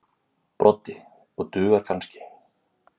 Broddi: Og dugar kannski.